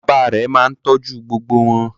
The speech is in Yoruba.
Bàbá rẹ̀ máa ń tọ́jú gbogbo wọn.